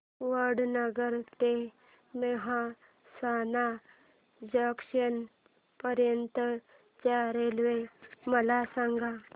वडनगर ते मेहसाणा जंक्शन पर्यंत च्या रेल्वे मला सांगा